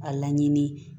A laɲini